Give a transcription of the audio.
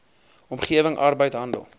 omgewing arbeid handel